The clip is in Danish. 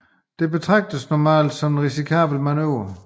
Dette betragtes normalt som en risikabel manøvre